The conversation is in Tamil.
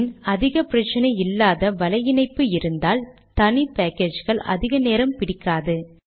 அதன் பின் அதிக பிரச்சினை இல்லாத வலை இணைப்பு இருந்தால் தனி பேக்கேஜ்கள் அதிக நேரம் பிடிக்காது